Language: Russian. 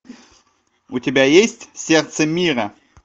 у тебя есть сердце мира